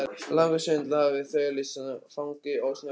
Langa stund lágum við þögul í fangi ósnortinnar náttúru.